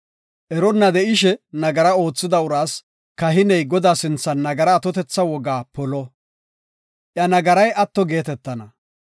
Eronna de7ishe nagara oothida uraas kahiney Godaa sinthan nagara atotetha wogaa polo; iya nagaray atto geetetana.